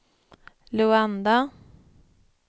Luanda